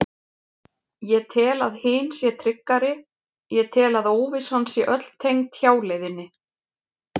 Ég tel að hin sé tryggari, ég tel að óvissan sé öll tengd hjáleiðinni.